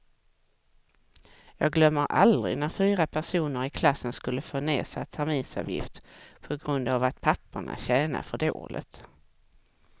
Jag glömmer aldrig när fyra personer i klassen skulle få nedsatt terminsavgift på grund av att papporna tjänade för dåligt.